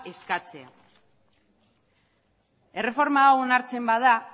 eskatzea erreforma hau onartzen bada